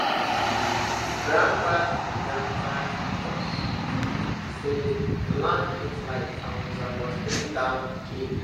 grandpapa teach grandpapa teach us say land get life and we suppose treat am with care